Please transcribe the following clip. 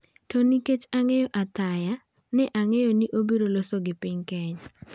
'To nikech ang'eyo Athaya, ne ang'eyo ni obiro loso gi piny''.